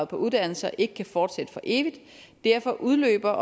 på uddannelser ikke kan fortsætte for evigt og derfor udløber